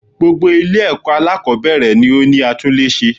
Gbogbo Ilé èkó alákòbéèrè ni ó ní atúlése